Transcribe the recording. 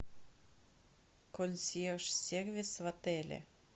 консьерж сервис в отеле